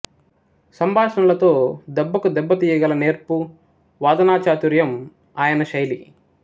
సంభాషణలతో దెబ్బకు దెబ్బ తీయగల నేర్పు వాదనాచాతుర్యం ఆయన శైలి